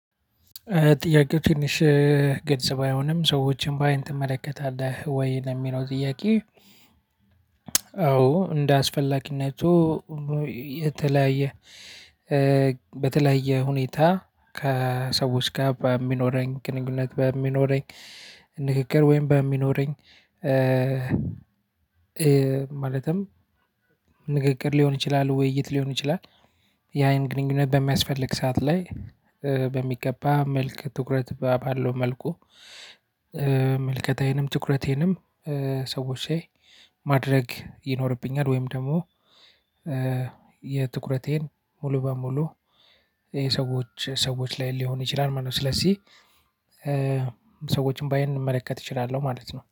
ጥያቄው ትንሽ ገልጽ ባይሆንም ሰዎችን በአይን ትመለከታለህ ወይ ለሚለው ጥያቄ? አዎ እንደ አስፈላጊነቱ። የተለያየ በተለያየ ሁኔታ ከሰዎች ጋር በሚኖረኝ ግንኙነት በሚኖረኝ ንግግር ወይም በሚኖረኝ ማለትም ንግግር ሊሆን ይችላል ውይይት ሊሆን ይችላል። ያይን ግንኙነት በሚያስፈልግ ሰዓት ላይ በሚገባ መልክ ትኩረት ባለው መልኩ። መልከታዬንም ትኩረቴንም ሰዎች ላይ ማድረግ ይኖርብኛል። ወይም ደግሞ የትኩረቴን ሙሉ በሙሉ ይሄ ሰዎች ሰዎች ላይ ሊሆን ይችላል ማለት ነው። ስለዚህ ሰዎችን በአይን ልመለከት እችላለሁ ማለት ነው